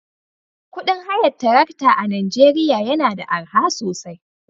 Kudin hayar tarakta a Najeriya yana da arha sosai